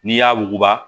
N'i y'a wuguba